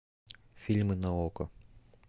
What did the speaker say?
фильмы на окко